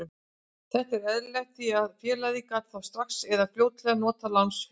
Þetta er eðlilegt því að félagið gat þá strax eða fljótlega notað lánsféð.